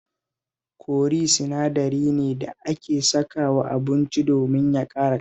Kori sinadari ne da ake sakawa abincin domin ya ƙara ƙamshi